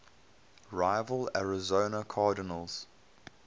rival arizona cardinals